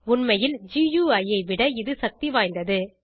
உண்மையில் குயி ஐ விட இது சக்தி வாய்ந்தது